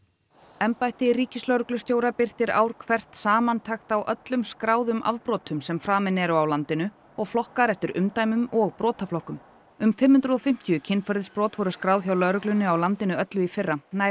embætti ríkislögreglustjóra birtir ár hvert samantekt á öllum skráðum afbrotum sem framin eru á landinu og flokkar eftir umdæmum og brotaflokkum um fimm hundruð og fimmtíu kynferðisbrot voru skráð hjá lögreglunni á landinu öllu í fyrra nær